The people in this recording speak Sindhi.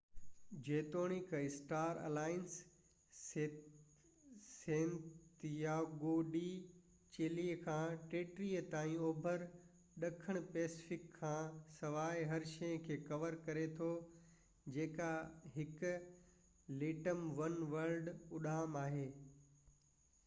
جيتوڻيڪ star alliance Santiago de Chile کان ٽيهٽي تائين اوڀر ڏکڻ پئسفڪ کان سواءِ هر شيءَ کي ڪَوَر ڪري ٿو جيڪا هڪ ليٽم ون ورلڊ اڏام آهي